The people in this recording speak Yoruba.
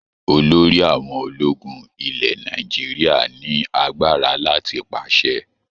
Olórí àwọn ológun ilẹ̀ Nàìjíríà ní agbára láti pàṣẹ.